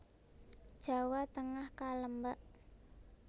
Jawa Tengah Kalembak